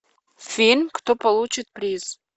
фильм кто получит приз